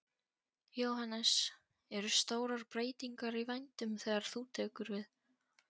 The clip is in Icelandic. Jóhannes: Eru stórar breytingar í vændum þegar þú tekur við?